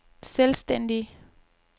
selvstændige